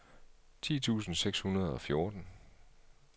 ti tusind seks hundrede og fjorten